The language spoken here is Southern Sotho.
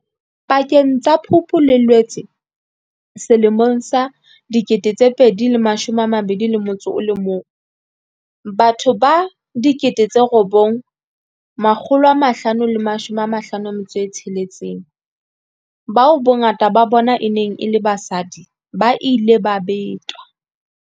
Pakeng tsa Phupu le Loetse 2021, batho ba 9 556, bao bongata ba bona e neng e le basadi, ba ile ba betwa.